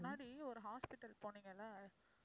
முன்னாடி ஒரு hospital போனீங்கல்ல